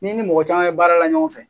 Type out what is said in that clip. N'i ni mɔgɔ caman ye baara la ɲɔgɔn fɛ